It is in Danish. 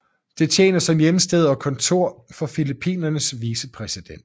Det tjener som hjemsted og kontor for Filippinernes vicepræsident